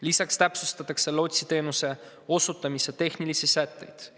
Lisaks täpsustatakse lootsiteenuse osutamise tehnilisi sätteid.